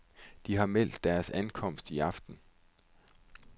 De har meldt deres ankomst i aften.